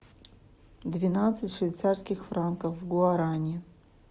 двенадцать швейцарских франков в гуарани